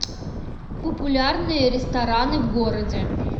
популярные рестораны в городе